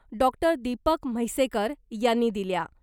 Doctor Deepak Mhaisekar यांनी दिल्या .